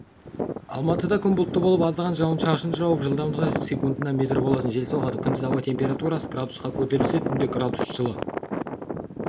алматыда күн бұлтты болып аздаған жауын жауып жылдамдығы секундына метр болатын жел соғады күндіз ауа температурасы градусқа көтерілсе түнде градус жылы